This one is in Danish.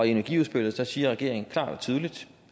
i energiudspillet siger regeringen klart og tydeligt